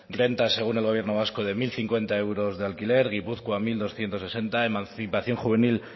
renta según el gobierno vasco de mil cincuenta euros de alquiler gipuzkoa mil doscientos sesenta euros emancipación juvenil